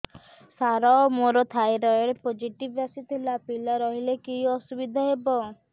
ସାର ମୋର thyroid positive ଆସିଥିଲା ପିଲା ରହିଲେ କି ଅସୁବିଧା ହେବ